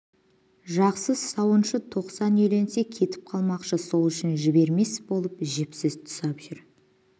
жақсы сауыншы тоқсан үйленсе кетіп қалмақшы сол үшін жібермес болып жіпсіз тұсап жүр